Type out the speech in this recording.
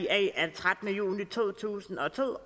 af trettende juni to tusind og to